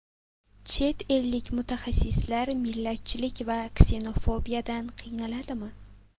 Chet ellik mutaxassislar millatchilik va ksenofobiyadan qiynaladimi?